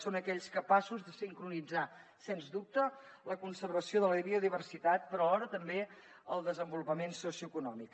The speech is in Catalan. són aquells capaços de sincronitzar sens dubte la conservació de la biodiversitat però alhora també el desenvolupament socioeconòmic